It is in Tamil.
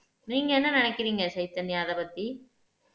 நீங்க என்ன நினைக்கிறீங்க சைதன்யா அதைப் பத்தி